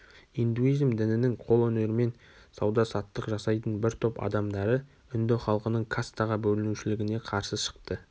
индуизм дінінің қол өнерімен сауда-саттық жасайтын бір топ адамдары үнді халқының кастаға бөлінушілігіне қарсы шықты